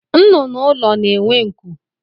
Nnụnụ ụlọ na-enwe nku